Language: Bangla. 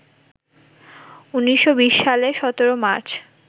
১৯২০ সালের ১৭ মার্চ